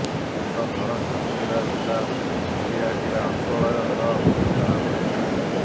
ତାଙ୍କ ଘର ଝାରସୁଗୁଡା ଜିଲ୍ଲା ଭୁଲିଆଟିରା ଅଞ୍ଚଳର ବୋଲି ଜଣାପଡିଛି